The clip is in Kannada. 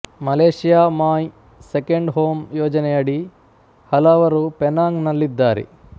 ಮಲೆಷ್ಯಾ ಮಾಯ್ ಸೆಕೆಂಡ್ ಹೋಮ್ ಯೋಜನೆಯಡಿ ಹಲವರು ಪೆನಾಂಗ್ ನಲ್ಲಿದ್ದಾರೆ